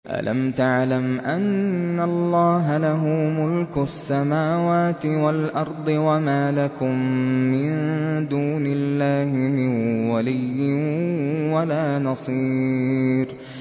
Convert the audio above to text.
أَلَمْ تَعْلَمْ أَنَّ اللَّهَ لَهُ مُلْكُ السَّمَاوَاتِ وَالْأَرْضِ ۗ وَمَا لَكُم مِّن دُونِ اللَّهِ مِن وَلِيٍّ وَلَا نَصِيرٍ